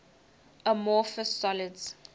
amorphous solids